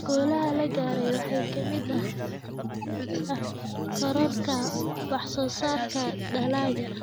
Guulaha la gaaray waxaa ka mid ah kororka wax soo saarka dalagga.